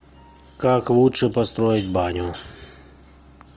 как лучше построить баню